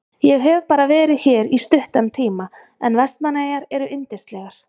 Ég hef bara verið hér í stuttan tíma en Vestmannaeyjar eru yndislegar.